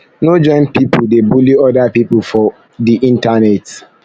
no join pipo dey bully oda pipo for pipo for di internet